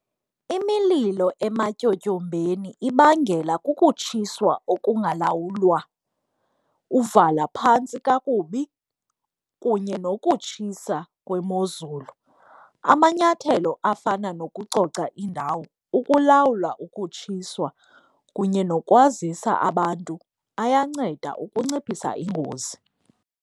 Imililo ematyotyombeni ibangela kukutshiswa okungalawulwa, uvala phantsi kakubi kunye nokutshisa kwemozulu. Amanyathelo afana nokucoca indawo, ukulawula ukutshiswa kunye nokwazisa abantu ayanceda ukunciphisa ingozi.